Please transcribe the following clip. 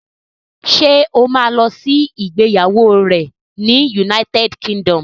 Ṣé o ma lọ sí ìgbéyàwó rẹ̀ ní United Kingdom?